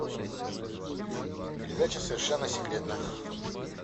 передача совершенно секретно